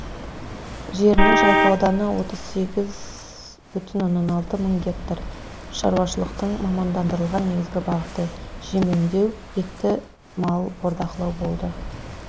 жерінің жалпы ауданы отыз сегіз бүтін оннан алты мың гектар шаруашылықтың мамандандырылған негізгі бағыты жем өндеу етті мал бордақылау болды